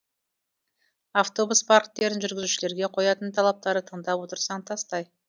автобус парктерінің жүргізушілерге қоятын талаптары тыңдап отырсаң тастай